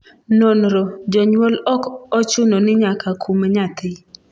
nonro: jonyuol ok ochuno ni nyaka kum nyathi